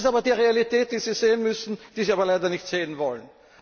Das ist aber die Realität, die Sie sehen müssen, die Sie aber leider nicht sehen wollen!